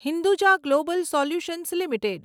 Hinduja global solutions limited